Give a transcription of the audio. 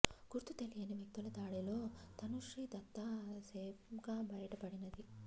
గుర్తు తెలియని వ్యక్తుల దాడిలో తనూశ్రీ దత్తా సేఫ్గా బయట పడినది